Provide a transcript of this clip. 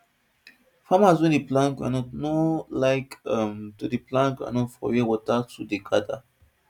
farmers wey dey plant groundnut no like um to dey plant groundnut for where water too dey gather